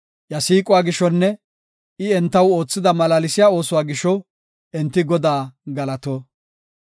Iya siiquwa gishonne I entaw oothida malaalsiya oosuwa gisho enti Godaa galato.